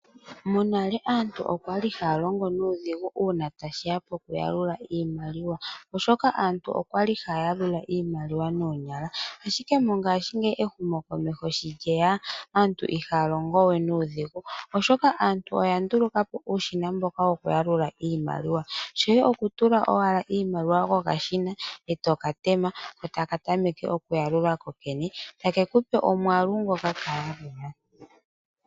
Monale aantu oya li haya longo nuudhigu uuna tashi ya pokuyalula iimaliwa, oshoka aantu oya li haya yalula iimaliwa noonyala. Ashike mongashingeyi ehumokomeho sho lye ya, aantu ihaa longo we nuudhigu, oshoka aantu oya nduluka po uushina mboka wokuyalula iimaliwa. Shoye okutula owala iimaliwa kokashina, e to ka tema, taka tameke okuyalula kokene, take ku pe omwaalu ngoka ka yalula.